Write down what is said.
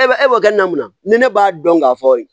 E bɛ e b'a kɛ namana ni ne b'a dɔn k'a fɔ